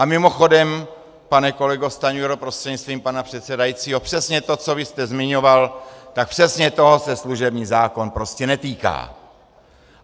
A mimochodem, pane kolego Stanjuro prostřednictvím pana předsedajícího, přesně to, co vy jste zmiňoval, tak přesně toho se služební zákon prostě netýká.